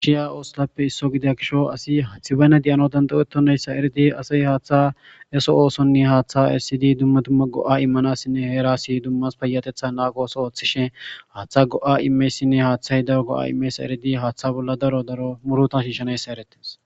Gishiya oosolappe isso gidia kisho asi hathibayna di'ano dandawetonayssa eredi asay haaththa eso oosonne haaththa essidi dumma dumma go7a immanasinne heerasi dummas payatetha naakooso ooththishin haaththa go'a imeysinne haaththahy daro go7a imeesa eridi haaththa bolla daro daro muruta shiishanayssa erettes.